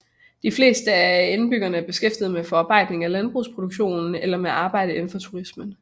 De fleste af indbyggerne er beskæftiget med forarbejdning af landbrugsprodukter eller med arbejde indenfor turismen